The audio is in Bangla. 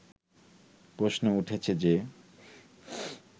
প্রশ্ন উঠেছে যে